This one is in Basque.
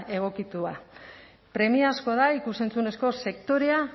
egokitua premiazkoa da ikus entzunezko sektorea